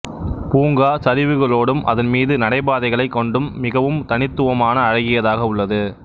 பூங்கா சரிவுகளோடும் அதன் மீது நடைபாதைகளைக் கொண்டும் மிகவும் தனித்துவமான அழகியதாக உள்ளது